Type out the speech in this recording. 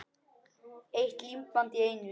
Eitt límband í einu.